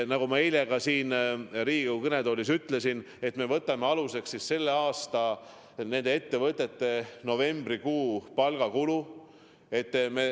Nagu ma eile siin Riigikogu kõnetoolis ütlesin, me võtame aluseks nende ettevõtete tänavuse novembrikuu palgakulu.